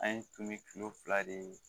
An ye tun bi kilo fila de ye